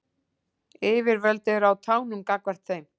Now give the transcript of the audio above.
Yfirvöld eru á tánum gagnvart þeim